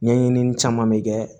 Ɲɛɲinini caman bɛ kɛ